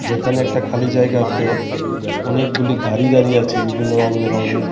যেখানে একটা খালি জায়গাতে অনেকগুলি গাড়ি দাঁড়িয়ে আছে বিভিন্ন রঙবেরঙের .